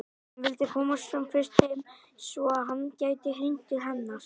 Hann vildi komast sem fyrst heim svo að hann gæti hringt til hennar.